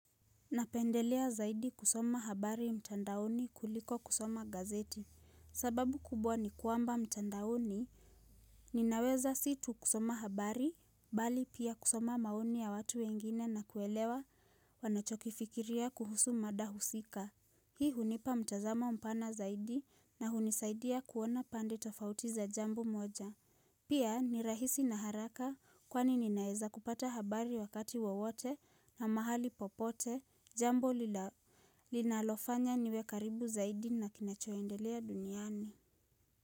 Napendelea zaidi kusoma habari mtandaoni kuliko kusoma gazeti. Sababu kubwa ni kwamba mtandaoni, ninaweza si tu kusoma habari, bali pia kusoma maoni ya watu wengine na kuelewa wanachokifikiria kuhusu mada husika. Hii hunipa mtazamo pana zaidi na hunisaidia kuona pande tofauti za jambo moja. Pia ni rahisi na haraka kwani ninaeza kupata habari wakati wowote na mahali popote jambo linalofanya niwe karibu zaidi na kinachoendelea duniani.